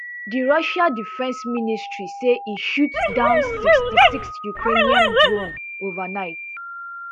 di russian defence ministry say e shoot down sixty-six ukrainian drones overnight